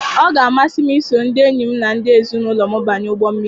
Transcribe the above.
Ọ ga-amasị m iso ndị enyi m na ndị ezinụlọ m banye ụgbọ mmiri.